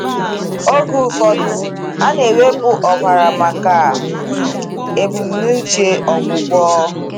Oge ụfọdụ, a na-ewepụ ọbara maka um ebumnuche ọgwụgwọ.